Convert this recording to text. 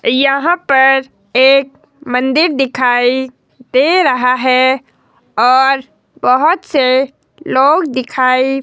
यहां पर एक मंदिर दिखाई दे रहा है और बहुत से लोग दिखाई--